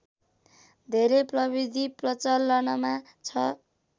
धेरै प्रविधि प्रचलनमा छ